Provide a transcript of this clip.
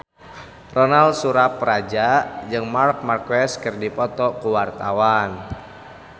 Ronal Surapradja jeung Marc Marquez keur dipoto ku wartawan